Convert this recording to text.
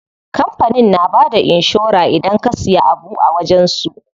Kampanin na bada inshora idan ka siya abu a wajen su.